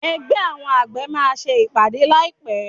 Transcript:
Ẹgbẹ́ àwọn àgbẹ̀ máa ṣe ìpàdé láì pé.